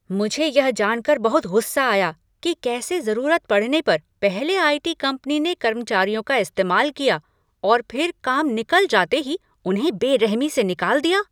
मुझे यह जानकर बहुत गुस्सा आया कि कैसे जरूरत पड़ने पर पहले आई.टी. कंपनी ने कर्मचारियों का इस्तेमाल किया और फिर काम निकल जाते ही उन्हें बेरहमी से निकाल दिया।